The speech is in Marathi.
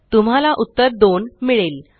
तुम्हाला उत्तर 2 मिळेल